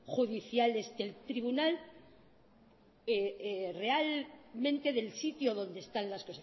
judiciales del tribunal realmente del sitio donde están las